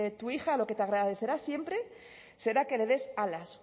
tu hija te agradecerá siempre será que le des alas